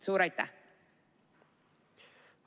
Suur aitäh!